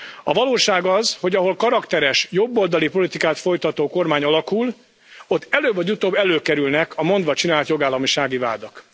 A valóság az, hogy ahol karakteres jobboldali politikát folytató kormány alakul, ott előbb vagy utóbb előkerülnek a mondvacsinált jogállamisági vádak.